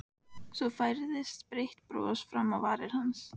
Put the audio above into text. Svo færðist breitt bros fram á varir hans.